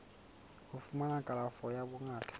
ho fumana kalafo ya bongaka